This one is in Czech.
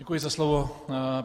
Děkuji za slovo.